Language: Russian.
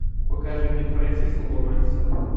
покажи мне френсиса лоуренса